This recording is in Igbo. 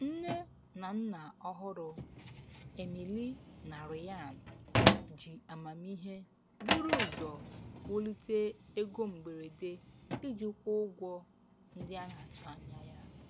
Nne na nna ọhụrụ, Emily na Ryan, ji amamihe buru ụzọ wulite ego mberede iji kwụọ ụgwọ ndị a na-atụ anya ya.